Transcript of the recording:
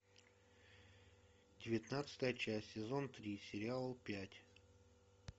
девятнадцатая часть сезон три сериал пять